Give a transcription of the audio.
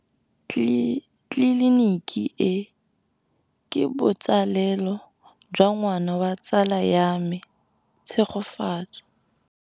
Tleliniki e, ke botsalêlô jwa ngwana wa tsala ya me Tshegofatso.